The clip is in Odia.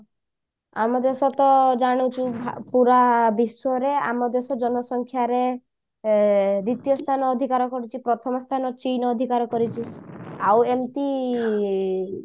ଆମ ଦେଶ ତ ଜାଣିଛୁ ଭା ପୁରା ବିଶ୍ବରେ ଆମ ଦେଶ ଜନସଂଖ୍ୟାରେ ଏ ଦ୍ଵିତୀୟ ସ୍ଥାନ ଅଧିକାର କରିଛି ପ୍ରଥମ ସ୍ଥାନ ଚୀନ ଅଧିକାର କରିଛି ଆଉ ଏମତି